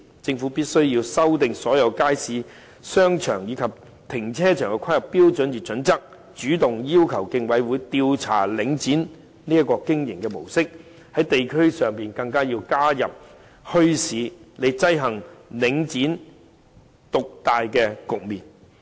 政府必須修訂所有街市、商場，以及停車場的規劃標準與準則，主動要求競爭事務委員會調查領展的經營模式，在地區上更要加設墟市，以制衡領展獨大的局面。